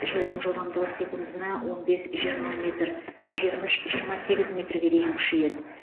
желдің жылдамдығы секундына он бес жиырма метр жиырма үш жиырма сегіз метрге дейін күшейеді